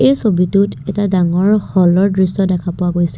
এই ছবিতো এটা ডাঙৰ হল ৰ দৃশ্য দেখা পোৱা গৈছে।